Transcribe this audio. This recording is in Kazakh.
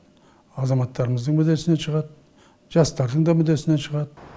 азаматтарымыздың мүддесінен шығады жастардың да мүддесінен шығады